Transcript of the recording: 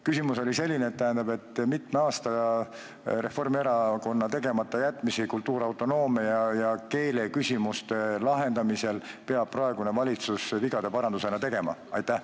Küsimus oli selline: kui mitme aasta Reformierakonna tegematajätmistele kultuuriautonoomia ja keeleküsimustes peab praegune valitsus vigade paranduse tegema?